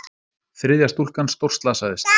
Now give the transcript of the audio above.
Þriðja stúlkan stórslasaðist